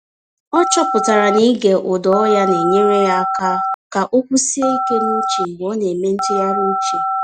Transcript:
Ọ chọtara na ịge ụda ọhịa na-enyere ya aka ka o kwụsie ike n’uche mgbe ọ na-eme ntụgharị uche.